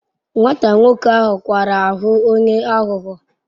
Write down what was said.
Nwata nwoke ahu kwara ahu onye aghugho